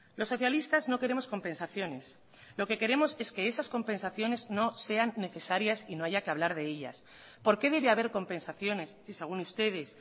los socialistas no queremos compensaciones lo que queremos es que esas compensaciones no sean necesarias y no haya que hablar de ellas por qué debe haber compensaciones si según ustedes